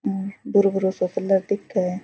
यह भुरो भुरो सा कलर दिख।